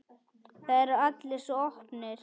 Það eru allir svo opnir.